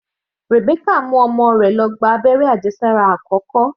Rebecca mú ọmọ rẹ̀ lọ gba abẹ́rẹ́ àjẹsára àkọ́kọ́.